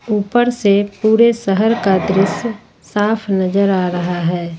ऊपर से पूरे शहर का दृश्य साफ नजर आ रहा है ।